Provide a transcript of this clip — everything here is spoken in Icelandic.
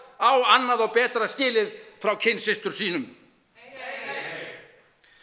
á annað og betra skilið frá kynsystrum sínum heyr